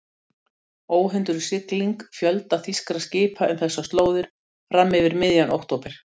Óhindruð sigling fjölda þýskra skipa um þessar slóðir fram yfir miðjan október